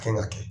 Kan ka kɛ